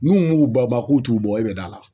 N'u m'u bama k'u t'u bɔ e bɛ da la ?